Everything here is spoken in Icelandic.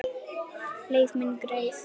Leið mín greið.